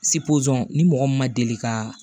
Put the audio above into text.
ni mɔgɔ min ma deli kaaa